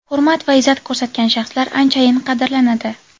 Hurmat va izzat ko‘rsatgan shaxslar anchayin qadrlanadi.